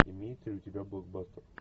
имеется ли у тебя блокбастер